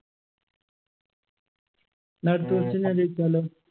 ന്നാ അടുത്ത question ഞാൻ ചോയിച്ചാലോ